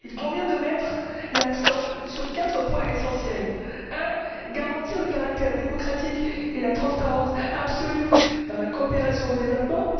Il convient de mettre l'accent sur quatre points essentiels premièrement, garantir le caractère démocratique et la transparence absolue dans la coopération au développement.